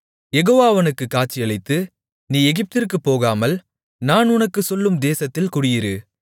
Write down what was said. யெகோவா அவனுக்குக் காட்சியளித்து நீ எகிப்திற்குப் போகாமல் நான் உனக்குச் சொல்லும் தேசத்தில் குடியிரு